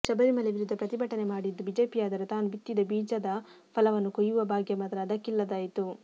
ಶಬರಿಮಲೆ ವಿರುದ್ಧ ಪ್ರತಿಭಟನೆ ಮಾಡಿದ್ದು ಬಿಜೆಪಿಯಾದರೂ ತಾನು ಬಿತ್ತಿದ ಬೀಜದ ಫಲವನ್ನು ಕೊಯ್ಯುವ ಭಾಗ್ಯ ಮಾತ್ರ ಅದಕ್ಕಿಲ್ಲದಾಯಿತು